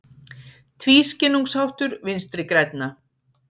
Tvískinnungsháttur Vinstri grænna